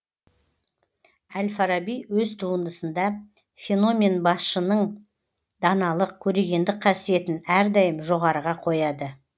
әл фараби өз туындысында феномен басшының даналық көрегендік қасиетін әрдайым жоғарыға қояды